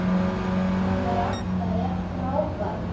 Hann var alltaf jafn frábær.